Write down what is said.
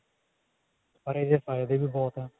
ਪਰ ਇਹਦੇ ਫਾਇਦੇ ਵੀ ਬਹੁਤ ਨੇ